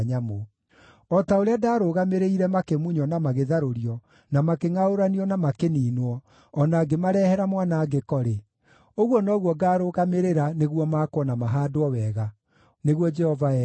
O ta ũrĩa ndaarũgamĩrĩire makĩmunywo na magĩtharũrio, na makĩngʼaũranio, na makĩniinwo, o na ngĩmarehera mwanangĩko-rĩ, ũguo noguo ngarũgamĩrĩra nĩguo makwo na mahaandwo wega,” nĩguo Jehova ekuuga.